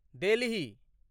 Delhi